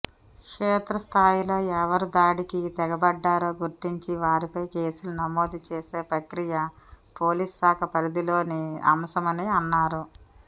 క్షేత్రస్థాయిలో ఎవరుదాడికి తెగబడ్డారో గుర్తించి వారిపై కేసులు నమోదు చేసే ప్రక్రియ పోలీసుశాఖ పరిధిలోని అంశమని అన్నారు